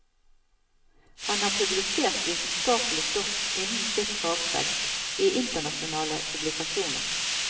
Han har publisert vitenskapelig stoff innen sitt fagfelt i internasjonale publikasjoner.